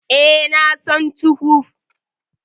E, na son ketchup.